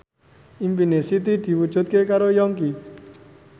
impine Siti diwujudke karo Yongki